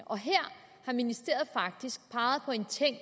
og her har ministeriet faktisk peget på en ting